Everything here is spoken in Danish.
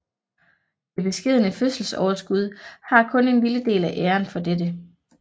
Det beskedne fødselsoverskud har kun en lille del af æren for dette